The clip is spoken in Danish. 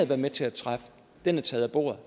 var med til at træffe er taget af bordet